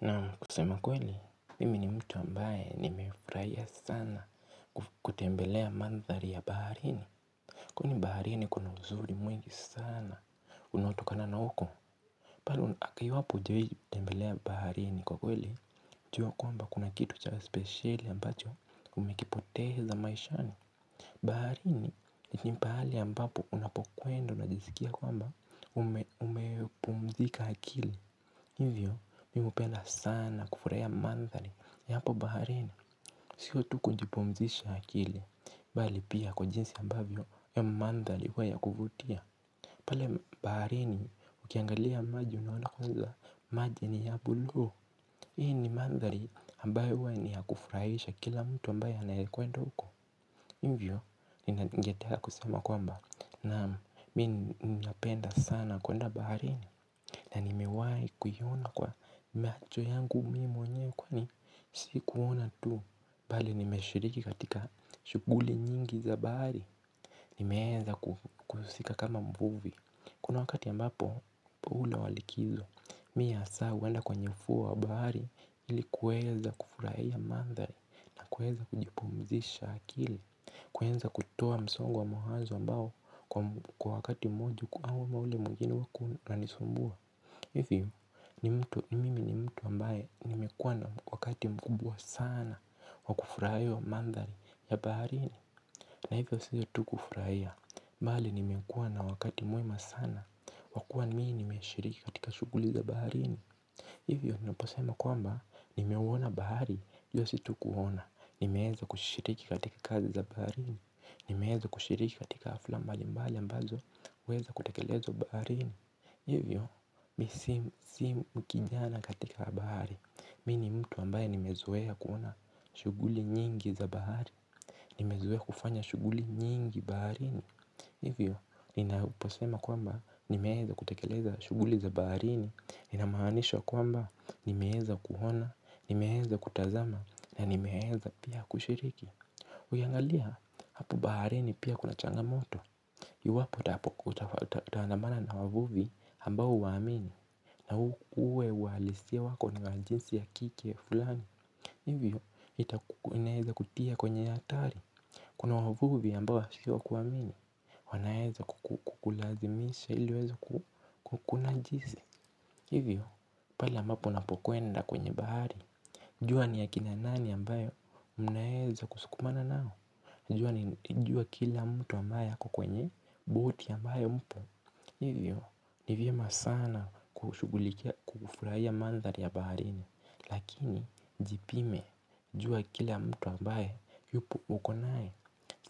Na kusema kweli, mimi ni mtu ambaye nimefurahia sana kutembelea mandhari ya baharini. Kwani baharini kuna uzuri mwingi sana, unaotokana na huko. Pale, akiiwapo hujawahi tembelea baharini kwa kweli, jua kwamba kuna kitu cha spesheli ambacho umekipoteza maishani. Baharini ni pahali ambapo unapokwenda unajiskia kwamba umepumzika akili. Hivyo, mimi hupenda sana kufurahia mandhali ya hapo baharini siyo tu kujipumzisha akili, bali pia kwa jinsi ambavyo ya mandhali huwa ya kuvutia pale baharini, ukiangalia maji unaona kwa hivyo, maji ni ya bulu Hii ni mandhari ambayo huwa ni ya kufurahisha kila mtu ambayo anayekwenda huko Hivyo, ningetaka kusema kwamba naam mimi napenda sana kwenda baharini na nimewahi kuiona kwa macho yangu mimi mweyewe kwani si kuona tu Bali nimeshiriki katika shughuli nyingi za bahari Nimeeza kuhusika kama mvuvi Kuna wakati ambapo muhula walikizo Mimi hasa huenda kwenye ufuo wa bahari ili kuweza kufurahia mandhari na kuweza kujipumzisha akili kuweza kutoa msongo wa mawazo ambao kwa wakati mmoja au ule mwingine ulikuwa unanisumbua Hivyo mimi ni mtu ambaye nimekuwa na wakati mkubwa sana wakufurahia mandhari ya baharini na hivyo siyo tu kufurahia mbali nimekuwa na wakati mwema sana wakuwa mimi nimeshiriki katika shughuli za baharini Hivyo naposema kwamba nimeuwona bahari iyo situkuona Nimeeza kushiriki katika kazi za baharini Nimeeza kushiriki katika hafla mbali mbali ambazo huweza kutekelezwa baharini Hivyo, misimu simu mkijana katika bahari Mimi ni mtu ambaye nimezoea kuona shughuli nyingi za bahari nimezoea kufanya shughuli nyingi baharini Hivyo, ninaposema kwamba nimeeza kutekeleza shughuli za baharini inamaanisha kwamba nimeeza kuona, nimeeza kutazama na nimeeza pia kushiriki Ukiangalia, hapo baharini pia kuna changamoto Iwapo utaandamana na wavuvi ambao huwaamini na uwe uhalisia wako ni wajinsi ya kike fulani Hivyo, inaeza kutia kwenye hatari Kuna wavuvi ambao si wa kuamini wanaeza kukulazimisha iliwaweze kukunajisi Hivyo, pale ambapo unapokwenda kwenye bahari jua ni akina nani ambayo mnaeza kusukumana nao Najua jua kila mtu ambaye ako kwenye boti ambayo mpo Hivyo ni vyema sana kufurahia mandhari ya baharini Lakini jipime jua kila mtu ambaye yupo uko naye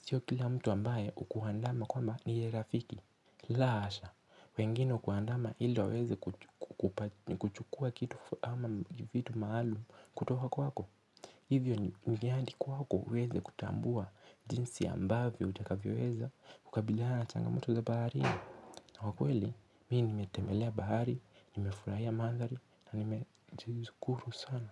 Sio kila mtu ambaye hukuandama kwamba niye rafiki la hasha wengine hukuandama iliwaweze kuchukua kitu ama vitu maalum kutoka kwako Hivyo ni viandi kwako uweze kutambua jinsi ambavyo utakavyoweza kukabiliana changamoto za baharini na kwa kweli, mimi nimetembelea bahari Nimefurahia mandhari na nimejishukuru sana.